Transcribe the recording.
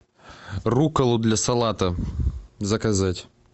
руккола для салата заказать